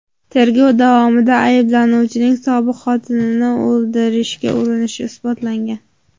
Tergov davomida ayblanuvchining sobiq xotinini o‘ldirishga urinishi isbotlangan.